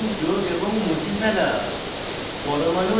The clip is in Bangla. বন্ধন যোগ এবং মুছে ফেলা